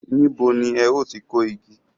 Níbo ni ẹ ó ti kó igi?